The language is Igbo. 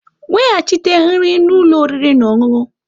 Weghachite nri na ụlọ oriri na ọṅụṅụ!